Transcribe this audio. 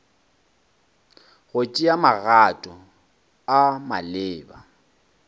go tšea magato a maleba